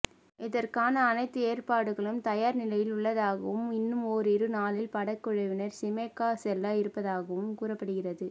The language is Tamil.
இதற்கான அனைத்து ஏற்பாடுகளும் தயார் நிலையில் உள்ளதாகவும் இன்னும் ஓரிரு நாளில் படக்குழுவினர் ஷிமோகா செல்ல இருப்பதாகவும் கூறப்படுகிறது